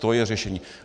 To je řešení.